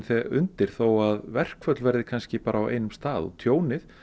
undir þó að verkföll verði kannski bara á einum stað tjónið